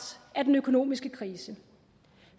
af den økonomiske krise